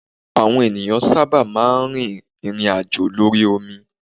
Àwọn ènìyàn sábà máa ń rí ìrìn àjò lórí omi.